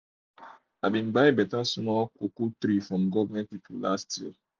i buy better um small um small cocoa tree from government people last year